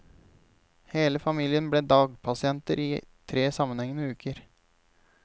Hele familien ble dagpasienter i tre sammenhengende uker.